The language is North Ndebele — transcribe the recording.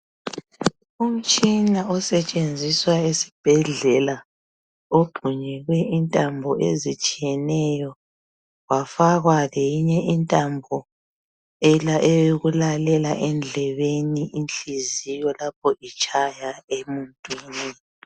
Umtshina osetshenziswa ezibhedlela ogxunyekwe intambo ezitshiyeneyo kwafakwa lenyinye intambo eyokulalela endlebeni inhliziyo lapho itshaya emuntwini.